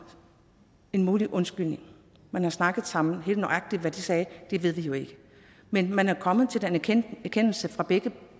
en mulig undskyldning man har snakket sammen helt nøjagtigt hvad de sagde ved vi jo ikke men man er kommet til den erkendelse fra begge